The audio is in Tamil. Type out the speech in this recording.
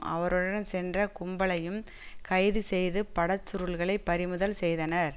அவருடன் சென்ற கும்பலையும் கைது செய்து படச்சுருள்களை பறிமுதல் செய்தனர்